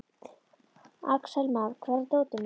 Axelma, hvar er dótið mitt?